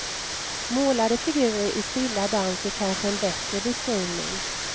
Målade figurer i stilla dans är kanske en bättre beskrivning.